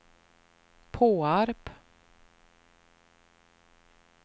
Påarp